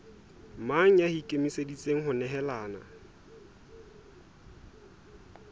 mang ya ikemiseditseng ho nehelana